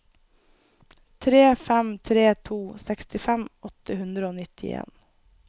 tre fem tre to sekstifem åtte hundre og nittien